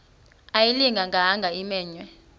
ayilinga gaahanga imenywe